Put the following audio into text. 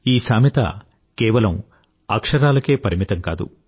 ఈ సామెత కేవలం అక్షరాలకే పరిమితం కాదు